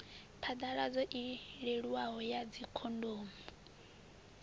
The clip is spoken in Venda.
phaḓaladzo i leluwaho ya dzikhondomu